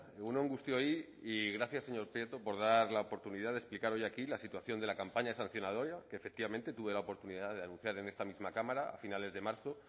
egun on guztioi y gracias señor prieto por dar la oportunidad de explicar hoy aquí la situación de la campaña sancionadora que efectivamente tuve la oportunidad de anunciar en esta misma cámara a finales de marzo